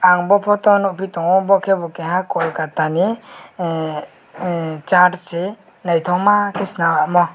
ang bw photo o nuguji tongo boh ke bo keha Kolkata ni ahh ahh church ni nyhthkma swnam omo.